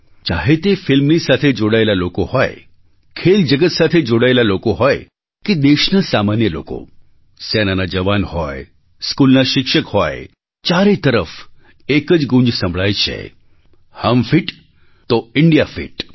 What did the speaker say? ચાહે તે ફિલ્મની સાથે જોડાયેલા લોકો હોય ખેલ જગત સાથે જોડાયેલા લોકો હોય કે દેશના સામાન્ય લોકો સેનાના જવાન હોય સ્કૂલના શિક્ષક હોય ચારે તરફ એક જ ગૂંજ સંભળાય છે હમ ફિટ તો ઇન્ડિયા ફિટ